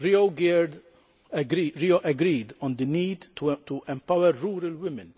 Rio agreed on the need to empower rural women